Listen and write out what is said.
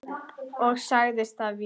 Ég sagði það víst.